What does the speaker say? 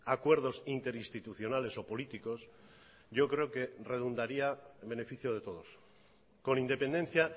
acuerdos interinstitucionales o políticos yo creo que redundaría en beneficio de todos con independencia